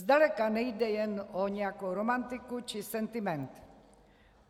Zdaleka nejde jen o nějakou romantiku či sentiment.